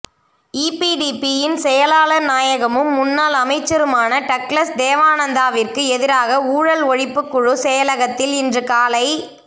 ஈபிடிபியின் செயலாளர் நாயகமும் முன்னாள் அமைச்சருமான டக்ளஸ் தேவானந்தாவிற்கு எதிராக ஊழல் ஒழிப்புக் குழு செயலகத்தில் இன்று காலை